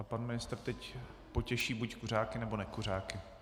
A pan ministr teď potěší buď kuřáky, nebo nekuřáky.